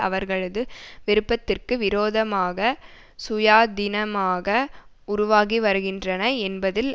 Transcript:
அவர்களது விருப்பத்திற்கு விரோதமாக சுயாதினமாக உருவாகி வருகின்றன என்பதில்